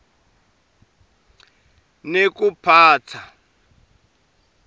nekuphatsa